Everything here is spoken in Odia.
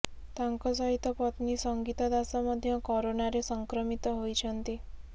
ତାଙ୍କ ସହିତ ପତ୍ନୀ ସଙ୍ଗୀତ ଦାସ ମଧ୍ୟ କରୋନାରେ ସଂକ୍ରମିତ ହୋଇଛନ୍ତି